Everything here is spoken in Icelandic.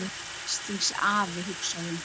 Veslings afi, hugsaði hún.